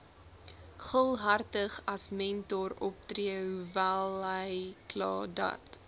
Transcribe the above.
gul hartigasmentoroptree hoewelhykladat